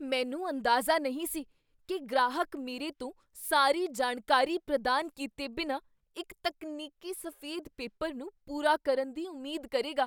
ਮੈਨੂੰ ਅੰਦਾਜ਼ਾ ਨਹੀਂ ਸੀ ਕੀ ਗ੍ਰਾਹਕ ਮੇਰੇ ਤੋਂ ਸਾਰੀ ਜਾਣਕਾਰੀ ਪ੍ਰਦਾਨ ਕੀਤੇ ਬਿਨਾਂ ਇੱਕ ਤਕਨੀਕੀ ਸਫ਼ੇਦ ਪੇਪਰ ਨੂੰ ਪੂਰਾ ਕਰਨ ਦੀ ਉਮੀਦ ਕਰੇਗਾ।